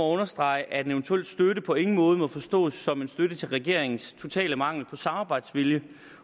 understrege at en eventuel støtte på ingen måde må forstås som en støtte til regeringens totale mangel på samarbejdsvilje